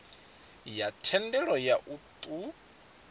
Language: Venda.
ya thendelo ya u ṱun